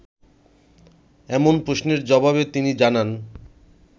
এমন প্রশ্নের জবাবে তিনি জানান